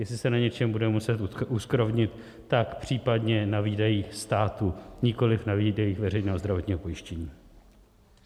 Jestli se na něčem budeme muset uskrovnit, tak případně na výdajích státu, nikoli na výdajích veřejného zdravotního pojištění.